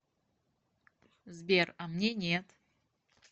сбер а мне нет